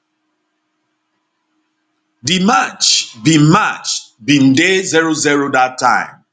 di match bin match bin dey 00 dat time